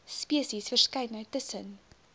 spesies verskeidenheid tussen